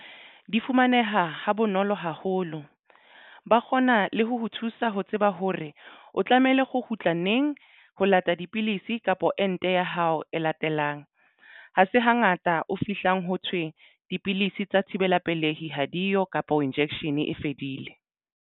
Di fumaneha ha bonolo haholo ba kgona le ho ho thusa ho tseba hore o tlamehile ho kgutla neng ho lata dipidisi kapa ente ya hao e latelang ha se hangata o fihlang ho thwe dipidisi tsa thibela pelehi ha diyo kapa o injection e fedile.